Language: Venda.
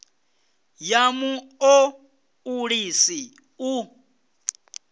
ya mu o ulusi u